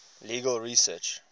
legal research